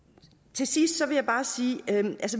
til sidst vil jeg bare sige at